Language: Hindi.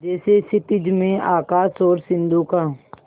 जैसे क्षितिज में आकाश और सिंधु का